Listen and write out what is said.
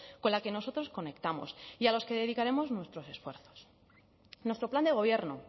con la que nosotros conectamos y a los que dedicaremos nuestros esfuerzos nuestro plan de gobierno